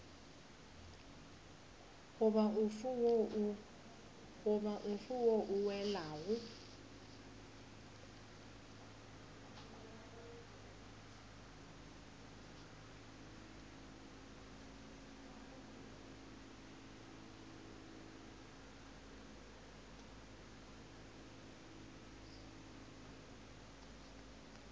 goba ofe wo o welago